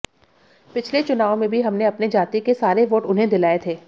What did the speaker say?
पिछले चुनाव में भी हमने अपने जाति के सारे वोट उन्हें दिलाये थे